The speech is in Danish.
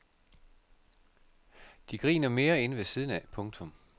De griner mere inde ved siden af. punktum